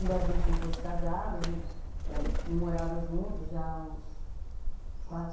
Embora a gente não fosse casada, a gente não morava junto já há uns quatro